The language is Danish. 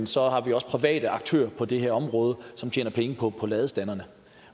så har vi også private aktører på det her område som tjener penge på ladestanderne